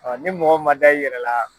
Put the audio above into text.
Ɔ ni mɔgɔ ma da i yɛrɛ la.